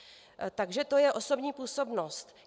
Takže to je osobní působnost.